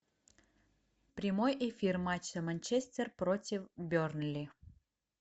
прямой эфир матча манчестер против бернли